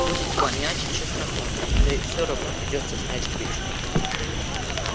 будет вонять чесноком да и все равно придётся снять к вечеру